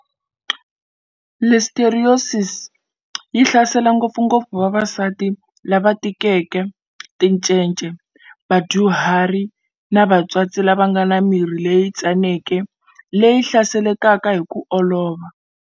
Listeriosis yi hlasela ngopfungopfu vavasati lava tikeke, ticece, vadyuhari na vatswatsi lava nga na miri leyi tsaneke leyi hlaselekaka hi ku olova.